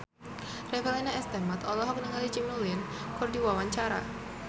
Revalina S. Temat olohok ningali Jimmy Lin keur diwawancara